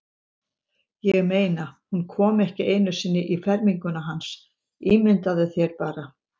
Ég meina, hún kom ekki einu sinni í ferminguna hans, ímyndaðu þér bara.